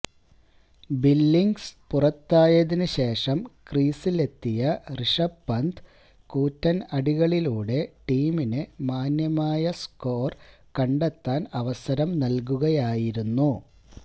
Billings പുറത്തായതിനു ശേഷം ക്രീസിലെത്തിയ ഋഷഭ് പാന്ത് കൂറ്റന് അടികളിലൂടെ ടീമിന് മാന്യമായ സ്കോര് കണ്ടെത്താന് അവസരം നല്കുകയായിരുന്നു